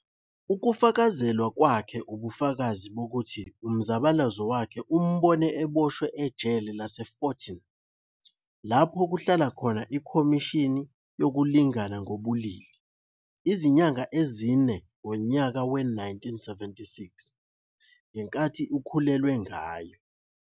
Ukufakazelwa kwakhe ubufakazi bokuthi umzabalazo wakhe umbone eboshwe ejele laseForton, lapho kuhlala khona iKhomishini yokuLingana ngobulili, izinyanga ezine ngonyaka we-1976, ngenkathi ikhulelwe ngayo.